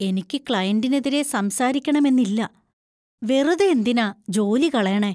എനിക്ക് ക്ലയന്‍റിനെതിരെ സംസാരിക്കണമെന്നില്ല, വെറുതെ എന്തിനാ ജോലി കളയണേ.